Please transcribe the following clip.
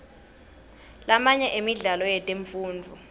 lamanye emidlalo yetemfundvo